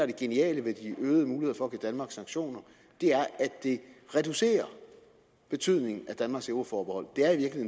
det geniale ved de øgede muligheder for at give danmark sanktioner er at det reducerer betydningen af danmarks euroforbehold